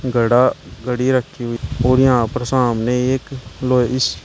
घड़ा घड़ी रखी हुई और यहां पर सामने एक लो इस--